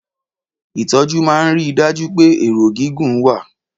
Ìtọ́jú máa ń rí i dájú pé ẹ̀rọ gígùn wà.